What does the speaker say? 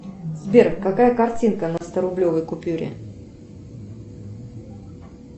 сбер какая картинка на сто рублевой купюре